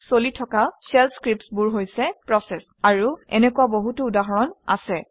চলি থকা shell scripts বোৰ হৈছে প্ৰচেচ আৰু এনেকুৱা বহুতো উদাহৰণ আছে